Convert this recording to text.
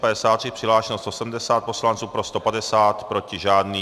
Přihlášeno 170 poslanců, pro 150, proti žádný.